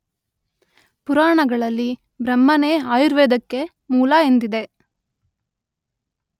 ಪುರಾಣಗಳಲ್ಲಿ ಬ್ರಹ್ಮನೇ ಆಯುರ್ವೇದಕ್ಕೆ ಮೂಲ ಎಂದಿದೆ.